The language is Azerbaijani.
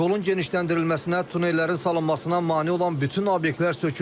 Yolun genişləndirilməsinə, tunellərin salınmasına mane olan bütün obyektlər sökülüb.